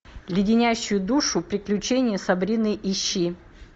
леденящие душу приключения сабрины ищи